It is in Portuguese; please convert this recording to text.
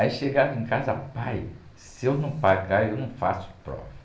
Aí chegava em casa, pai, se eu não pagar, eu não faço prova.